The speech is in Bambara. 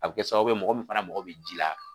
A bi kɛ sababu ye mɔgɔ min fana mako bi ji la.